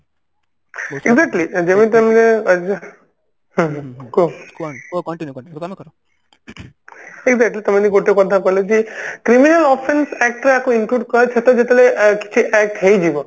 exactly ଯେମତି ମୁଁ ସେଇଟା କି ତମେ ଯୋଉ ଗୋଟେ କଥା କହିଲ କି criminal Offence act ରେ ଆକୁ include କରି ସେଟା ଯେତେବେଳେ ଅ type ହେଇଯିବ